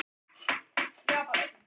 Finnur maður fyrir vindi eða hraða?